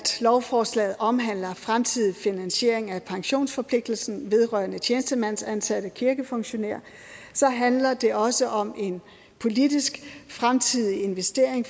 lovforslaget omhandler fremtidig finansiering af pensionsforpligtelsen vedrørende tjenestemandsansatte kirkefunktionærer handler det også om en politisk fremtidig investering